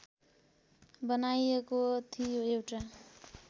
बनाइएको थियो एउटा